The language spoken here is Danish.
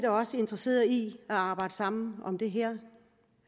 også interesseret i at arbejde sammen om det her